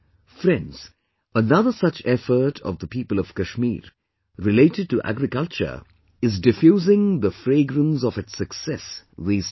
Friends, another such effort of the people of Kashmir related to agriculture is diffusing the fragrance of its success these days